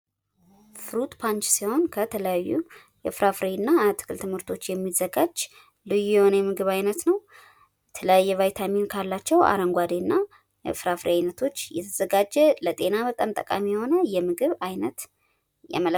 ፍሩት ፓንች ሲሆን ከተለያዩ የፍራፍሬ እና አትክልት ምርቶች የሚዘጋጅ ልዩ የሆነ ምግብ ዓይነት ነው ።የተለያዩ ቫይታሚን ካላቸው አረንጓዴና እፍራፍሬ አይነቶች የተዘጋጀ ለጤና በጣም ጠቃሚ የሆነ የምግብ ዓይነት ነው